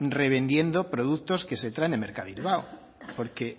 revendiendo productos que se traen de mercabilbao porque